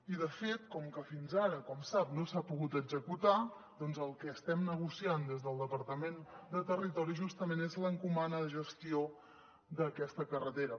i de fet com que fins ara com sap no s’ha pogut executar el que estem negociant des del departament de territori justament és l’encomana de gestió d’aquesta carretera